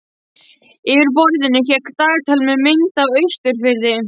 Yfir borðinu hékk dagatal með mynd af Austurfirði.